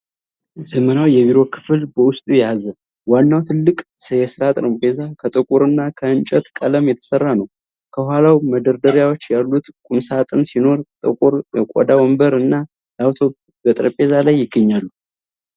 ዘመናዊ የቢሮ ክፍል በውስጡ ያዘ። ዋናው ትልቅ የስራ ጠረጴዛ ከጥቁርና ከእንጨት ቀለም የተሰራ ነው። ከኋላው መደርደሪያዎች ያሉት ቁምሳጥን ሲኖር፣ ጥቁር የቆዳ ወንበር እና ላፕቶፕ በጠረጴዛው ላይ ይገኛሉ።